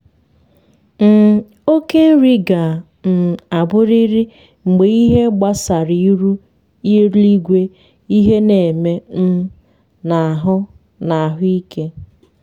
um okề nri ga um aburịrị mgbe ịhe gbasara iru eluigweịhe n’eme um na ahụ na ahụ ike